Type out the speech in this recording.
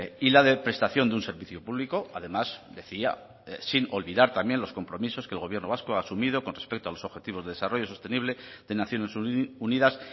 y la de prestación de un servicio público además decía sin olvidar también los compromisos que el gobierno vasco ha asumido con respecto a los objetivos de desarrollo sostenible de naciones unidas